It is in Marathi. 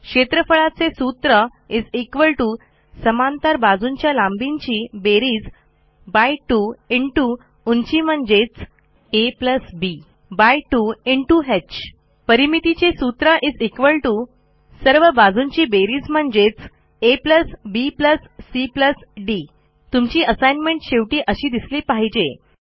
क्षेत्रफळाचे सूत्र समांतर बाजूंच्या लांबींची बेरीज 2 उंची म्हणजेच aबी2 ह परिमितीचे सूत्र सर्व बाजूंची बेरीज म्हणजेच abcडी तुमची असाईनमेंट शेवटी अशी दिसली पाहिजे